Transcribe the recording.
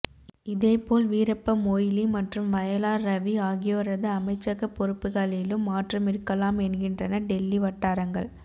இதேபோல் வீரப்ப மொய்லி மற்றும் வயலார் ரவி ஆகியோரது அமைச்சகப் பொறுப்புகளிலும் மாற்றம் இருக்கலாம் என்கின்றன டெல்லி வட்டாரங்கள்